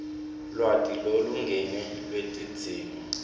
lwati lolulingene lwetidzingo